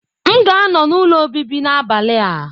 M ga-anọ n'ụlọ obibi n'abalị a.